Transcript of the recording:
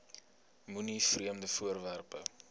moenie vreemde voorwerpe